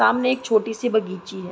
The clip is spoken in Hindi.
सामने एक छोटी सी बगीची है।